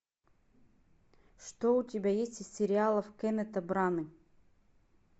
что у тебя есть из сериалов кеннета браны